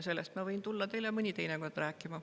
Sellest ma võin tulla teile mõni teine kord rääkima.